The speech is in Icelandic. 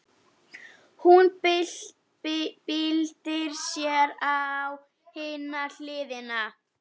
Hún byltir sér á hina hliðina.